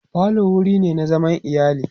falo wurine na zaman iyali